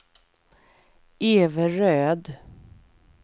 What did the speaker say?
Everöd